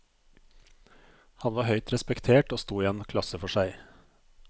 Han var høyt respektert og sto i en klasse for seg.